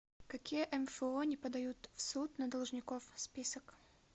какие мфо не подают в суд на должников список